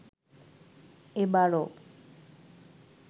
এ বারও